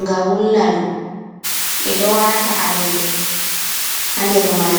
nga wulna ɗum. Ɓe ɗo wata alele ha nder mai.